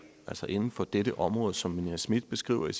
altså inden for det det område som nina smith beskriver i